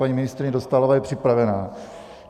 Paní ministryně Dostálová je připravená.